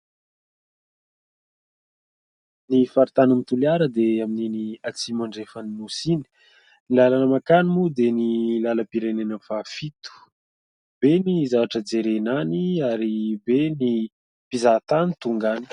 Ny faritany ny Toliara dia amin'ny iny atsimo andrefana ny nosy iny. Ny lalana makany moa dia ny lalam-pirenena faha fito. Be ny zavatra jerena any ary be ny mpizaha tany tonga any.